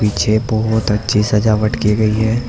बहोत अच्छी सजावट की गई है।